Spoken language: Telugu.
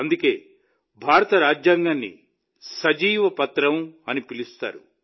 అందుకే భారత రాజ్యాంగాన్ని సజీవ పత్రం అని పిలుస్తారు